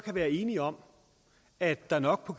være enige om at der nok på